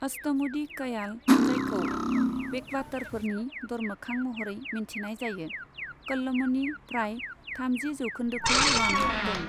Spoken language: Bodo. अष्टमुडि कयाल, जायखौ बेकवाटरफोरनि दरमोखां महरै मिन्थिनाय जायो, क'ल्लमनि प्राय थामजि जौखोन्दोखौ लाना दं।